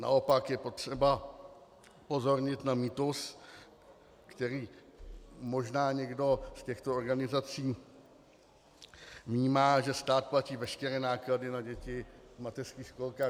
Naopak je potřeba upozornit na mýtus, který možná někdo z těchto organizací vnímá, že stát platí veškeré náklady na děti v mateřských školkách.